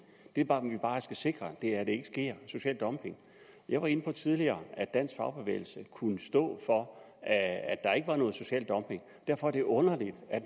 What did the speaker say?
vi bare skal sikre er at der ikke sker social dumping jeg var inde på tidligere at dansk fagbevægelse kunne stå for at der ikke var noget social dumping derfor er det underligt